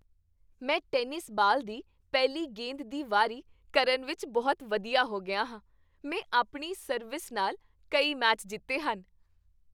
ਮੈਂ tennis ball ਦੀ ਪਹਿਲੀ ਗੇਂਦ ਦੀ ਵਾਰੀ ਕਰਨ ਵਿੱਚ ਬਹੁਤ ਵਧੀਆ ਹੋ ਗਿਆ ਹਾਂ। ਮੈਂ ਆਪਣੀ ਸਰਵਿਸ ਨਾਲ ਕਈ ਮੈਚ ਜਿੱਤੇ ਹਨ।